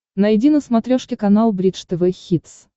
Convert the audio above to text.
найди на смотрешке канал бридж тв хитс